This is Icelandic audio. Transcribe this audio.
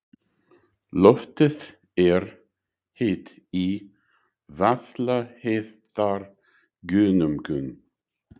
Loftið er heitt í Vaðlaheiðargöngum.